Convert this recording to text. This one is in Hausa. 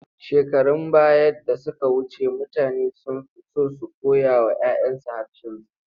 Shekarun baya da suka wuce, mutane sun fi so su koyawa 'ya 'yansu harshensu.